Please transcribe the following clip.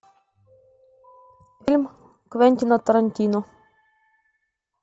фильм квентина тарантино